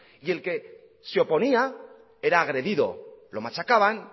y el que se oponía era agredido lo machacaban